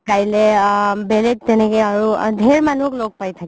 কাইলে আ বেলেগ তেনেকে আৰু ধেৰ মানুহক ল'গ পাই থাকো